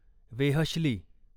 वेहश्ली